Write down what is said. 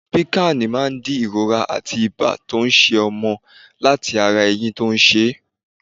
Piccan máa dín ìrora àti ibá tó ń ṣẹ ọmọ látí ara ẹyín tó ń ṣe.